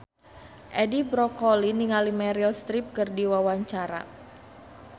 Edi Brokoli olohok ningali Meryl Streep keur diwawancara